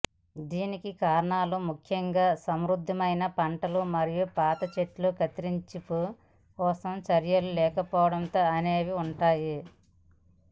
దీనికి కారణాలు ముఖ్యంగా సమృద్ధమైన పంటలు మరియు పాత చెట్లు కత్తిరింపు కోసం చర్యలు లేకపోవడం అనేవి ఉంటాయి